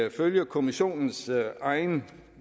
ifølge kommissionens egne